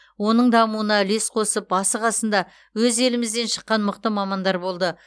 оның дамуына үлес қосып басы қасында өз елімізден шыққан мықты мамандар болды